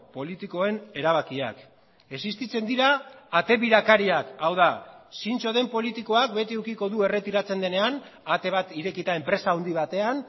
politikoen erabakiak existitzen dira ate birakariak hau da zintzo den politikoak beti edukiko du erretiratzen denean ate bat irekita enpresa handi batean